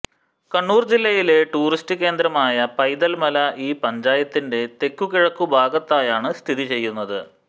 കണ്ണൂർ ജില്ലയിലെ ടൂറിസ്റ്റ് കേന്ദ്രമായ പൈതൽ മല ഈ പഞ്ചായത്തിന്റെ തെക്കുകിഴക്കു ഭാഗത്തായാണ് സ്ഥിതിചെയ്യുന്നത്